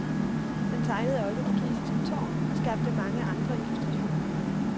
Han tegnede også det kinesiske tårn og skabte mange andre illustrationer.